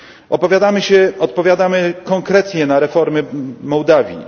Odpowiadamy konkretnie na reformy Mołdawii.